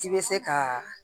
I bɛ se ka